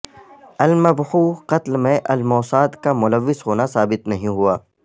al Mabhouh قتل میں al Mossad کا ملوث ہونا ثابت نہیں ہوا